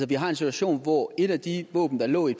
vi har en situation hvor et af de våben der lå i